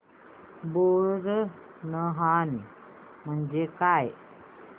बोरनहाण म्हणजे काय